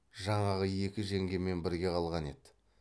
жаңағы екі жеңгемен бірге қалған еді